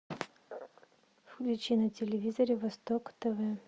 включи на телевизоре восток тв